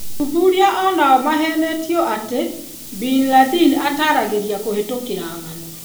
Aththuria onao mahenetio atĩ Bin Ladin ataragĩria kũhĩtũkĩra ng'ano.